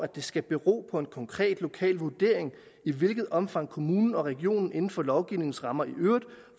det skal bero på en konkret lokal vurdering i hvilket omfang kommunen og regionen inden for lovgivningens rammer i øvrigt